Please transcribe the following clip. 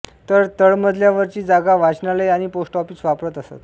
तर तळमजल्यावरची जागा वाचनालय आणि पोस्ट ऑफिस वापरत असत